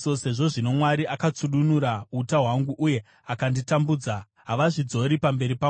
Sezvo zvino Mwari akatsudunura uta hwangu uye akanditambudza, havazvidzori pamberi pangu.